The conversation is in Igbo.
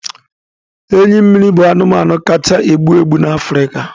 Enyi mmiri bụ anụmanụ kacha egbu egbu na Africa